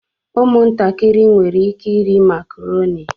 Ụmụntakịrị nwere ike ịrị makarọni.